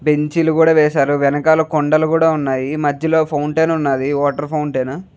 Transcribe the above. బెంచీలు కూడా వేశారు. వెనకాల కొండలు కూడా ఉన్నాయి. మధ్యలో ఫౌంటెన్ ఉన్నది వాటర్ ఫౌంటెన్ .